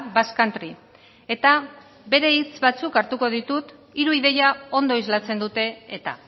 basque country eta bere hitz batzuk hartuko ditut hiru ideia ondo islatzen dute eta